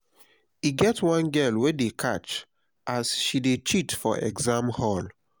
e get one girl wey dey catch as she dey cheat for exam hall